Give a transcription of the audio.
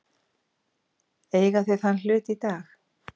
Eiga þau þann hlut í dag.